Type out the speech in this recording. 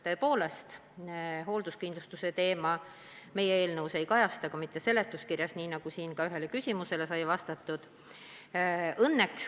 Tõepoolest, hoolduskindlustuse teema meie eelnõus ei kajastu, ka mitte seletuskirjas, nii nagu ma ühele küsimusele vastates juba ütlesin.